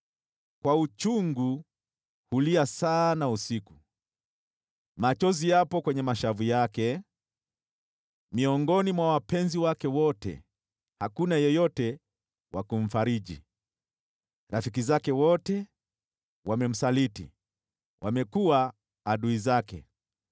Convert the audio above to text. Kwa uchungu, hulia sana usiku, machozi yapo kwenye mashavu yake. Miongoni mwa wapenzi wake wote hakuna yeyote wa kumfariji. Rafiki zake wote wamemsaliti, wamekuwa adui zake.